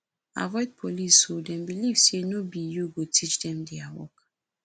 avoid police o dem believe sey no be you go teach dem their work